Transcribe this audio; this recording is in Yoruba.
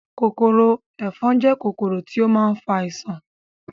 Kòkòrò ẹ̀fọn jẹ́ kòkòrò tí ó ma ń fa àisàn